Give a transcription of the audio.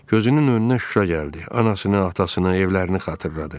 Gözünün önünə Şuşa gəldi, anasını, atasını, evlərini xatırladı.